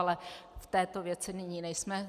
Ale v této věci nyní nejsme.